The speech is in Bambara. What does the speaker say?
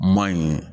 Maɲi